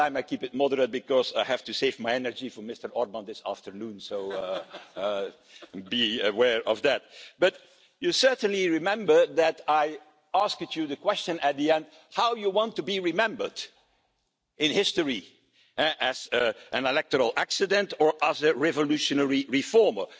here. This time I will keep it moderate because I have to save my energy for Mr Orbán this afternoon, so please be aware of that, but you will certainly remember that I asked you a question at the end how do you want to be remembered in history, as an electoral accident or as a revolutionary reformer?